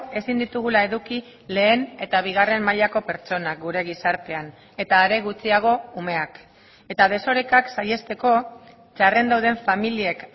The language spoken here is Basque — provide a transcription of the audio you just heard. ezin ditugula eduki lehen eta bigarren mailako pertsonak gure gizartean eta are gutxiago umeak eta desorekak saihesteko txarren dauden familiek